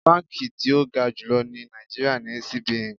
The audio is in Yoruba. Báǹkì tí ó ga jùlọ ní Nàìjíríà ni CBN.